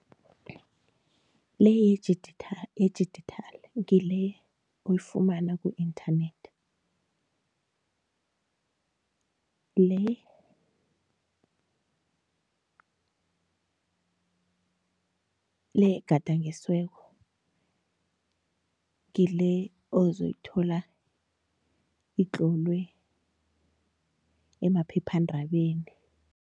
Le yedijithali ngile oyifumana ku-internet, le le egadangisiweko ngile ozoyithola itlolwe emaphephandabeni.